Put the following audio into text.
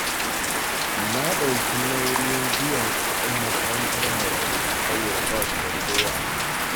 Na ɗauki nauyin biyan kuɗin makarantar marayu, saboda ba su da kowa.